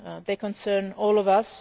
They concern all of